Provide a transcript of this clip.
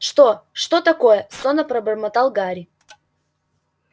что что такое сонно пробормотал гарри